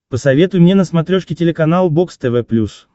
посоветуй мне на смотрешке телеканал бокс тв плюс